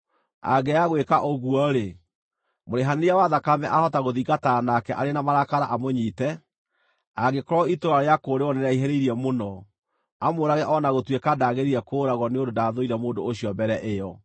Angĩaga gwĩka ũguo-rĩ, mũrĩhanĩria wa thakame ahota gũthingatana nake arĩ na marakara amũnyiite, angĩkorwo itũũra rĩa kũũrĩrwo nĩrĩraihĩrĩirie mũno, amũũrage o na gũtuĩka ndagĩrĩire kũũragwo nĩ ũndũ ndaathũire mũndũ ũcio mbere ĩyo.